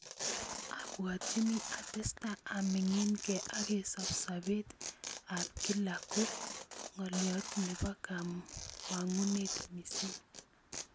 "Abwatyini atestai aminingke akesob sobet ab kila ko ngoliot nepokamanut mising.